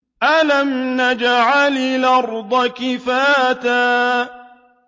أَلَمْ نَجْعَلِ الْأَرْضَ كِفَاتًا